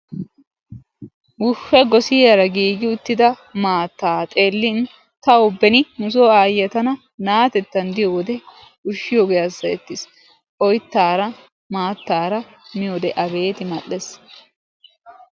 Uufe! goosiyaara giigi uttida maattaa xeellin tawu beeni nusoo ayyiyaa tana na"atettan diyoode uushiyoogee hasayettiis. oyttaara maattara miyoode abeet mal'ees.